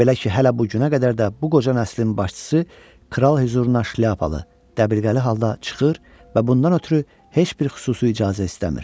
Belə ki, hələ bu günə qədər də bu qoca nəslin başçısı kral hüzurunda şlyapalı, dəbirqəli halda çıxır və bundan ötrü heç bir xüsusi icazə istəmir.